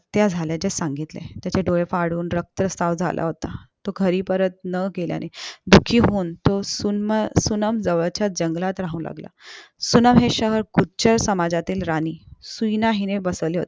हत्या झाल्याचे सांगितले त्याचे डोळे फाडून रक्तस्राव झाला होता तो घरी परत न गेल्याने दुखी होऊन तो सुन्नमजवळच्या जंगलात राहू लागला सुन्नम हे शहर गुज्जर समाजातील राणी सुइणा हिने बसवले होते